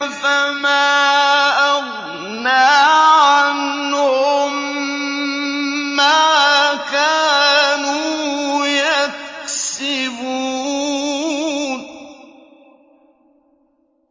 فَمَا أَغْنَىٰ عَنْهُم مَّا كَانُوا يَكْسِبُونَ